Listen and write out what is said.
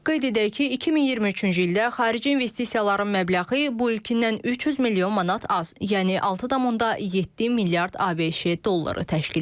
Qeyd edək ki, 2023-cü ildə xarici investisiyaların məbləği bu ilkindən 300 milyon manat az, yəni 6,7 milyard ABŞ dolları təşkil edib.